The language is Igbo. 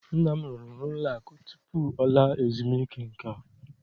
Nna m rụrụ n'ụlọakụ tutu ọ laa ezumuike nka